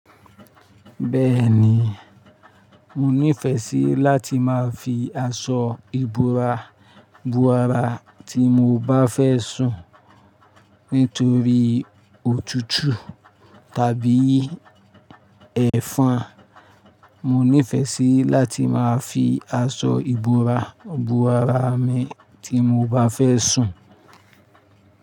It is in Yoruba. Bẹ́ẹ̀ni, mo nífẹẹ sí láti máa fi aṣọ ìbora bo ara tí mo bá fẹ́ sùn nítorí òtútù tàbí ẹ̀fọn. Mo nífẹẹ sí láti máa fi aṣọ ìbora bu ara mi tí mo bá fẹ́ sùn.